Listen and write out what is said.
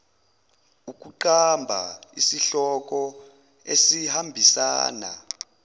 ukuqamba isihloko esihambisana